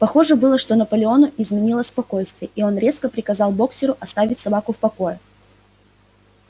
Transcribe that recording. похоже было что наполеону изменило спокойствие и он резко приказал боксёру оставить собаку в покое